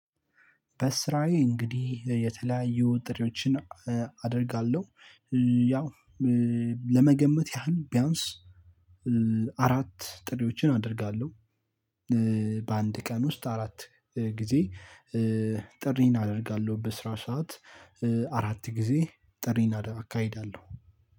በስራዬ እንግዲህ የተለያዩ ጥሪዎችን አደርጋለሁ። ያው ለመገመት ያህል ቢያንስ አራት ጥሪዎችን አደርጋለሁ። በአንድ ቀን ውስጥ አራት ጊዜ ጥሪን አደርጋለሁ። በስራ ሰዓት አራት ጊዜ ጥሪን እካሄዳለሁ።